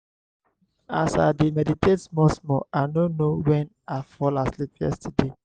as i dey meditate small small i no know wen i fall asleep yesterday.